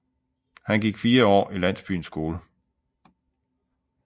Han gik fire år i landsbyens skole